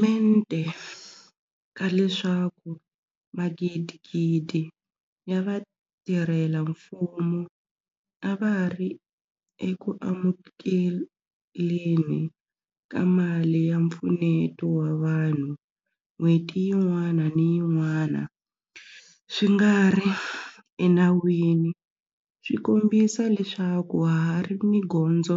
Mente ka leswaku magidigidi ya vatirhela mfumo a va ri eku amukeleni ka mali ya mpfuneto wa vanhu n'hweti yin'wana ni yin'wana swi nga ri enawini swi kombisa leswaku ha ha ri ni gondzo